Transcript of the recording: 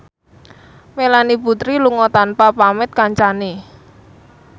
Melanie Putri lunga tanpa pamit kancane